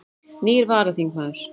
Nýr varaþingmaður